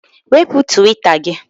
Wepụ Twita gị!